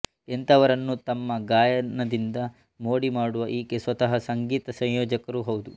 ಎಂಥವರನ್ನೂ ತಮ್ಮ ಗಾಯನದಿಂದ ಮೋಡಿಮಾಡುವ ಈಕೆ ಸ್ವತಃ ಸಂಗೀತ ಸಂಯೋಜಕರೂ ಹೌದು